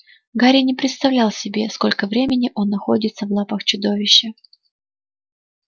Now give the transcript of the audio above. гарри не представлял себе сколько времени он находится в лапах чудовища